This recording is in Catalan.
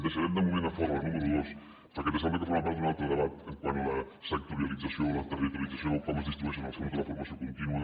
deixarem de moment a fora la número dos perquè ens sembla que forma part d’un altre debat quant a la sectorialització o la territorialització com es distribueixen els fons de la formació contínua